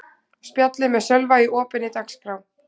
Spjallið með Sölva í opinni dagskrá